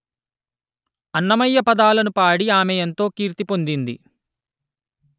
అన్నమయ్య పదాలను పాడి ఆమె ఎంతో కీర్తి పొందింది